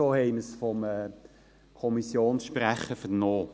so haben wir es vom Kommissionssprecher vernommen.